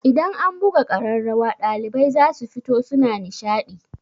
Idan an buga ƙararrawa ɗalibai zasu fito suna nishaɗi.